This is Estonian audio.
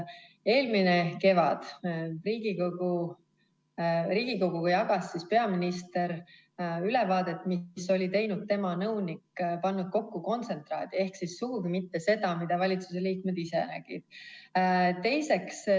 Eelmisel kevadel jagas peaminister Riigikoguga ülevaadet, mille oli teinud tema nõunik, pannud kokku kontsentraadi, ehk siis sugugi mitte seda, mida valitsuse liikmed ise nägid.